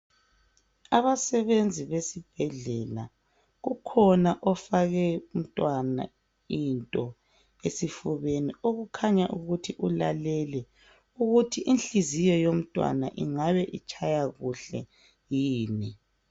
Abasebenzi besibhedlela, kukhona ofake umntwana into esifubeni okukhanya ukuthi ulalele ukuthi inhliziyo yomntwana ingabe itshaya kuhle yini.